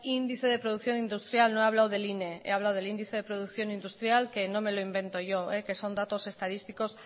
índice de producción industrial no he hablado del ine he hablado del índice de producción industrial que no me lo invento yo que son datos estadísticos